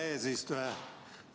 Hea eesistuja!